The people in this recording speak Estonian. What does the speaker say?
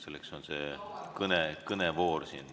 Selleks on siin kõnevoor.